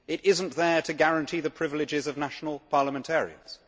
It is not there to guarantee the privileges of national parliamentarians.